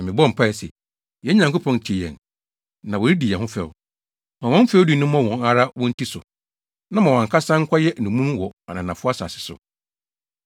Na mebɔɔ mpae se, “Yɛn Nyankopɔn, tie yɛn, na wɔredi yɛn ho fɛw. Ma wɔn fɛwdi no mmɔ wɔn ara wɔn ti so, na ma wɔn ankasa nkɔyɛ nnommum wɔ ananafo asase so.